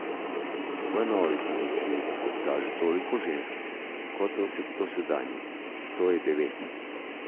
V novi komisiji bo, kot kaže, toliko žensk kot v dosedanji, to je devet.